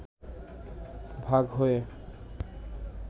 ভাগ হয়ে